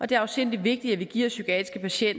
det er afsindig vigtigt at vi giver psykiatriske